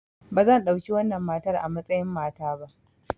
Ba zan ɗauki wannan matar a matsayin mata ba!